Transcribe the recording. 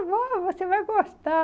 Não, você vai gostar.